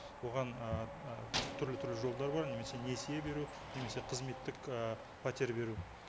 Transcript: оған ыыы түрлі түрлі жолдар бар немесе несие беру немесе қызметтік і пәтер беру